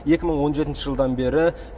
екі мың он жетінші жылдан бері